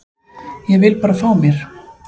Ég vil bara fá mér.